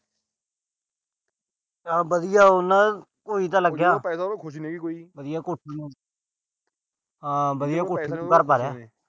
ਚਲ ਵਧੀਆ ਉਹਨਾਂ ਦਾ ਕੋਈ ਤਾਂ ਲੱਗਿਆ।